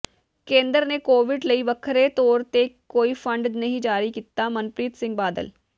ਕੇਂਦਰ ਨੇ ਕੋਵਿਡ ਲਈ ਵੱਖਰੇ ਤੌਰ ਤੇ ਕੋਈ ਫੰਡ ਜਾਰੀ ਨਹੀਂ ਕੀਤਾ ਮਨਪ੍ਰੀਤ ਸਿੰਘ ਬਾਦਲ